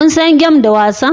Kun san game da wasan